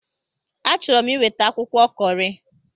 Achọrọ m iweta akwụkwọ Kọri.